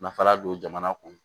Nafa la don jamana kɔnɔ